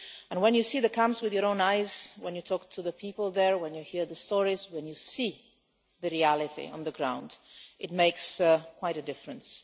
When you see the camps with your own eyes, when you talk to the people there, when you hear the stories, and when you see the reality on the ground, it makes quite a difference.